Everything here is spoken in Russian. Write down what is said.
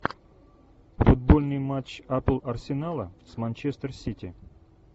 футбольный матч апл арсенала с манчестер сити